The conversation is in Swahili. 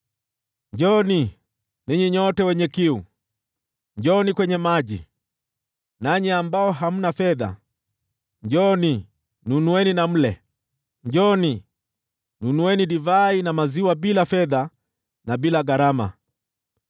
“Njooni, ninyi nyote wenye kiu, njooni kwenye maji; nanyi ambao hamna fedha, njooni, nunueni na mle! Njooni, nunueni divai na maziwa bila fedha na bila gharama.